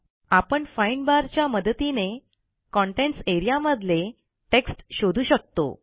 आपण find bar च्या मदतीने कंटेंट्स एआरईए मधले टेक्स्ट शोधू शकतो